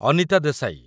Anita Desai